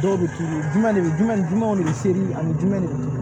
Dɔw bɛ k'i ye jumɛn de bɛ jumɛn ni jumɛw de bɛ seri ani jumɛn de bɛ